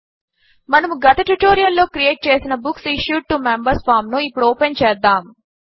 మనము గత ట్యుటోరియల్ లో క్రియేట్ చేసిన books issued to members form ను ఇప్పుడు ఓపెన్ చేద్దాము